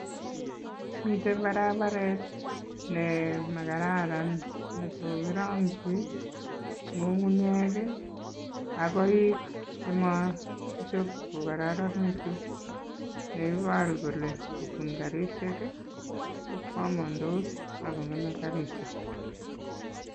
Miten barabaret nemakararan nekokirongyi ng'ung'unyek ak koik chemakichob kokororonekitun, neiboru kelee ng'obun karishek kokwomondos akong'eme karishek.